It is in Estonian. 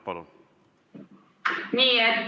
Palun!